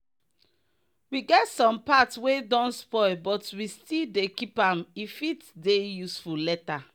we get some part wey don spoil but we still dey keep am e fit dey useful later.